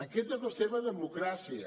aquesta és la seva democràcia